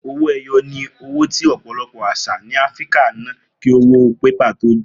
Owó e̩yo̩ ni owó tí ò̩pò̩lo̩pò̩ às̩à ní Afíríkà ń ná kí owó pépà tó dé